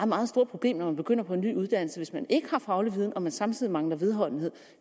meget stort problem når man begynder på en ny uddannelse hvis man ikke har faglig viden og man samtidig mangler vedholdenhed